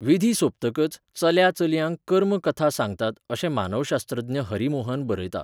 विधी सोंपतकच चल्या चलयांक कर्म कथा सांगतात अशें मानवशास्त्रज्ञ हरी मोहन बरयता.